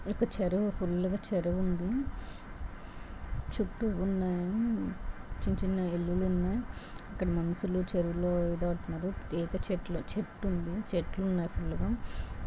ఒక చెరు.వు ఫుల్లు గా చెరు.వు ఉంది. చుట్టూ ఉన్నాయి. చిన్న చిన్న ఇల్లులు ఉన్నాయి. అక్కడ మనుషులు చెరు.వులో ఈత కొడుతున్నారు.. ఈత చెట్లు. చెట్టు ఉంది. చెట్లున్నాయి ఫుల్లు గా.